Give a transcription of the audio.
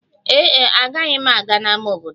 Ee e, agaghị m aga ámá obodo.